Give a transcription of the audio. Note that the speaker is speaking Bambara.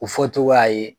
U fɔ togoya ye